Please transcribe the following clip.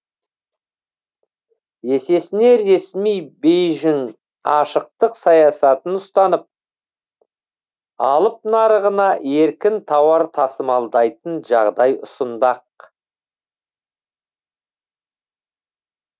есесіне ресми бейжің ашықтық саясатын ұстанып алып нарығына еркін тауар тасымалдайтын жағдай ұсынбақ